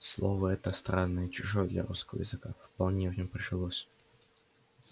слово это странное и чужое для русского языка вполне в нем прижилось